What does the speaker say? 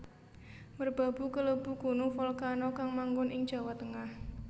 Merbabu kalebu gunung volcano kang manggon ing Jawa Tengah